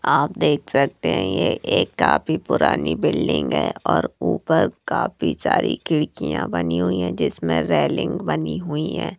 आप देख सकते हैं ये एक काफी पुरानी बिल्डिंग है और ऊपर काफी सारी खिड़कियां बनी हुई है जिसमें रेलिंग बनी हुई है।